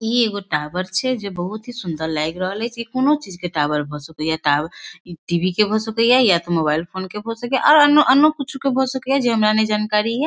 इ एगो टॉवर छै जे बहुते ही सुंदर लएग रहल छैये कोनो चीज के टॉवर भए सकय इ टावर टी.वी. के हो सकय या ते मोबाइल फ़ोन के हो सकय ये अ अन्य कुछु के हो सकय ये जे हमरा ने जानकारी हे ।